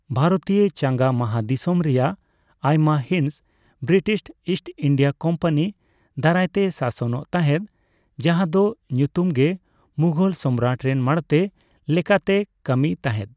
ᱵᱷᱟᱨᱚᱛᱤᱭᱚ ᱪᱟᱸᱜᱟ ᱢᱟᱦᱟᱫᱤᱥᱚᱢ ᱨᱮᱭᱟᱜ ᱟᱭᱢᱟ ᱦᱤᱸᱥ ᱵᱨᱤᱴᱤᱥ ᱤᱥᱴ ᱤᱱᱰᱤᱭᱟ ᱠᱳᱢᱯᱟᱱᱤ ᱫᱟᱨᱟᱭᱛᱮ ᱥᱟᱥᱚᱱᱚᱜ ᱛᱟᱦᱮᱫ, ᱡᱟᱦᱟ ᱫᱚ ᱧᱩᱛᱩᱢᱜᱮ ᱢᱩᱜᱷᱚᱞ ᱥᱚᱢᱨᱟᱴ ᱨᱮᱱ ᱢᱟᱬᱛᱮ ᱞᱮᱠᱟᱛᱮᱭ ᱠᱟᱹᱢᱤᱭ ᱛᱟᱦᱮᱫ ᱾